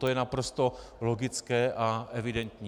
To je naprosto logické a evidentní.